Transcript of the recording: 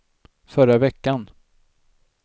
förra veckan